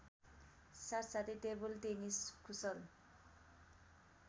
साथसाथै टेबलटेनिस कुशल